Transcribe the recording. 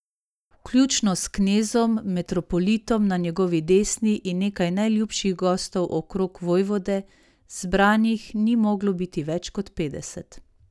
Vključno s knezom, metropolitom na njegovi desni in nekaj najljubših gostov okrog vojvode, zbranih ni moglo biti več kot petdeset.